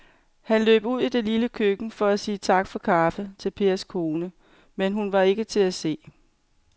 Han løb ud i det lille køkken for at sige tak for kaffe til Pers kone, men hun var ikke til at se.